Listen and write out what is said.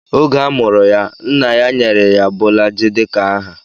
Oge a mụrụ ya, nna ya nyere ya Bolaji dika aha.